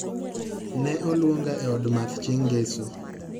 Ne olwonga e od math chieng' ngeso